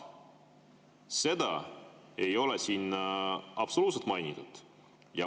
Seda ei ole siin absoluutselt mainitud.